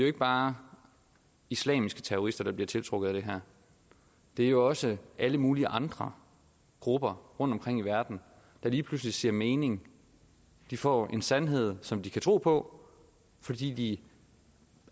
ikke bare islamiske terrorister det bliver tiltrukket af det her det er jo også alle mulige andre grupper rundtomkring i verden der lige pludselig ser en mening de får en sandhed som de kan tro på fordi de